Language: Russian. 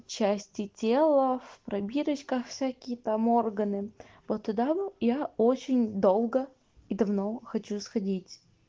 части тела в пробирочках всякие там органы вот туда я очень долго и давно хочу сходить